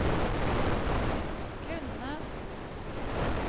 kunne